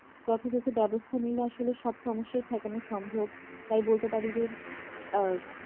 যথাযথ ব্যবস্থা নিতে আসলে সব সমস্যাই ঠেকানো সম্ভব তাই বলতে পারি যে আ